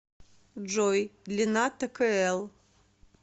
джой длина ткл